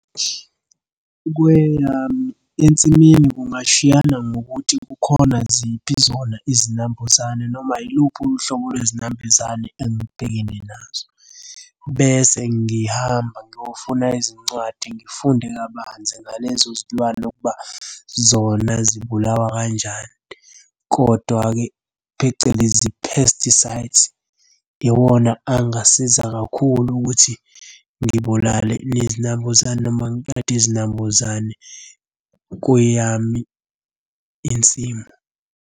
Kweyami ensimini kungashiyana ngokuthi kukhona ziphi zona izinambuzane, noma yiluphi uhlobo lwezinambuzane engibhekene nazo. Bese ngihamba ngiyofuna izincwadi, ngifunde kabanzi ngalezo zilwane ukuba zona zibulawa kanjani, kodwa-ke, phecelezi pesticides, iwona angasiza kakhulu ukuthi ngibulale lezi nambuzane noma ngiqede izinambuzane kweyami insimu.